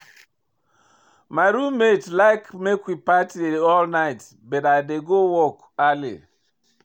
My roommate dey like make we party all night, but I dey go work early.